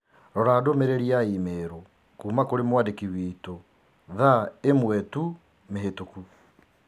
Rora ndũmĩrĩri ya i-mīrū kuuma kũrĩ mwandĩki witũ thaa ĩmwe tu mĩhĩtũku